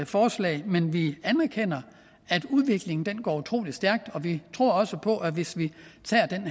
forslag men vi anerkender at udviklingen går utrolig stærkt og vi tror også på at hvis vi tager den